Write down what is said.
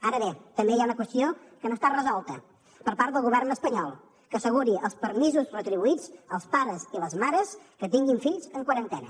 ara bé també hi ha una qüestió que no està resolta per part del govern espanyol que asseguri els permisos retribuïts als pares i les mares que tinguin fills en quarantena